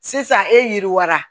Sisan e yiriwa